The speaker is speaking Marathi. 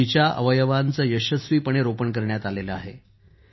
जिचे अवयवांचे यशस्वीपणे रोपण करण्यात आले आहेत